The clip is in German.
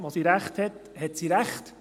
Wo sie recht hat, hat sie recht.